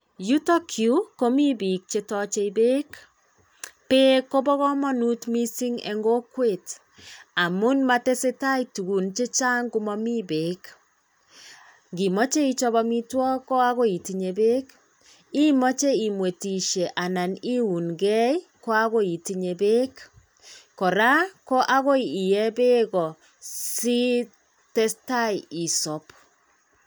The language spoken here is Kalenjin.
Yutok yuu komii bik chetoche peek, peek kobo komonut missing en kokwet amun motesetai tukun chechang komomi peek imoche ichop omitwoki ko ogoi itinye peek, imoche imwetishe anan iun gee ko akoi itinyee peek koraa ko akoi iyee peek sitestai isob.